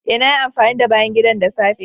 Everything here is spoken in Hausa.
Eh, nayi amfani da bayan gidan da safe.